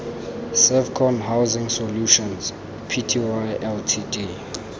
servcon housing solutions pty ltd